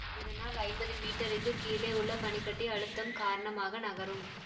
இதனால் ஐம்பது மீட்டருக்கு கீழே உள்ள பனி கட்டி அழுத்தம் காரணமாக நகரும்